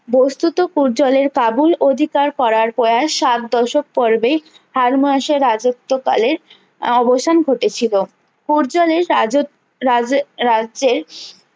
বস্তুত পূর্জালের কাবুল অধিকার করার প্রয়াস সাত দশক পর্বে রাজ্যত্বকালের আহ অবসান ঘটেছিল পর্যালের রাজ রাজে রাজ্যের